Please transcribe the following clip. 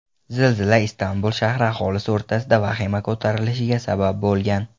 Zilzila Istanbul shahri aholisi o‘rtasida vahima ko‘tarilishiga sabab bo‘lgan.